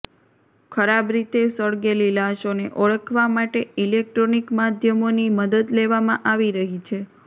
ખરાબ રીતે સળગેલી લાશોને ઓળખવા માટે ઇલેકટ્રોનિક માધ્યમોની મદદ લેવામાં આવી રહી છે